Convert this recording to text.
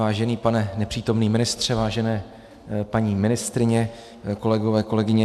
Vážený pane nepřítomný ministře, vážené paní ministryně, kolegové, kolegyně.